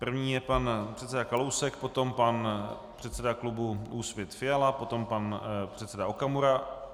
První je pan předseda Kalousek, potom pan předseda klubu Úsvit Fiala, potom pan předseda Okamura...